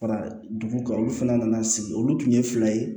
Fara dugu kan olu fana nana sigi olu tun ye fila ye